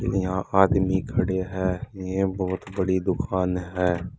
यहां आदमी खड़े हैं यह बहुत बड़ी दुकान है।